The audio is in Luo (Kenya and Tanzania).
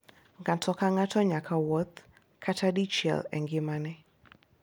Ng'ato ka ng'ato nyaka wuoth kata dichiel e ngimane